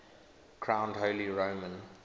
crowned holy roman